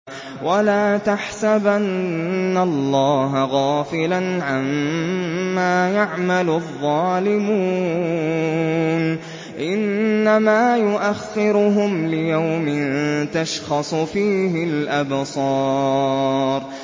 وَلَا تَحْسَبَنَّ اللَّهَ غَافِلًا عَمَّا يَعْمَلُ الظَّالِمُونَ ۚ إِنَّمَا يُؤَخِّرُهُمْ لِيَوْمٍ تَشْخَصُ فِيهِ الْأَبْصَارُ